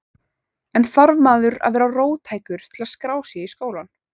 En þarf maður að vera róttækur til að skrá sig í skólann?